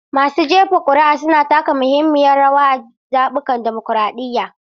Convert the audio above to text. Masu jefa kuri'a suna taka muhimmiyar rawa a zaɓukan dimokuradiyya.